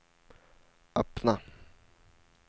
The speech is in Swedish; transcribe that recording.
öppna